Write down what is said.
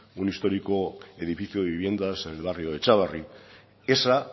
un histórico edificio de viviendas en el barrio de txabarri esa